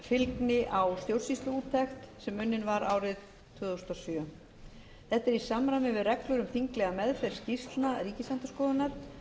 eftirfylgni á stjórnsýsluúttekt sem unnin var árið tvö þúsund og sjö þetta er í samræmi við reglur um þinglega meðferð skýrslna ríkisendurskoðunar